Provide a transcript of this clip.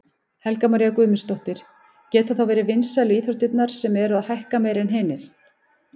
Helga María Guðmundsdóttir: Geta þá verið vinsælu íþróttirnar sem eru að hækka meira en hinar?